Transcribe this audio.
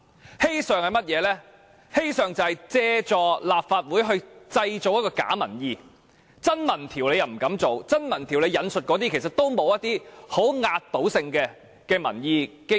而"欺上"，就是政府想借助立法會製造假民意，因為它不敢進行真民調，而其現時引述的資料也欠缺壓倒性的民意基礎。